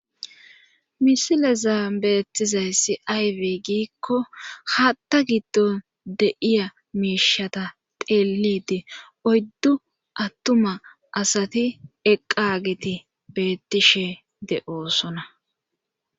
misileza beettizayssi ayibe giikko haatta giddo de'iya meishata teelidi oyddu attuma asati eqqagiti beettishe de'osona